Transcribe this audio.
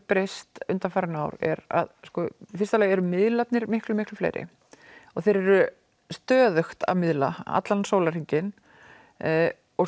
breyst undanfarin ár er að í fyrsta lagi eru miðlar miklu miklu fleiri og þeir eru stöðugt að miðla allan sólarhringinn og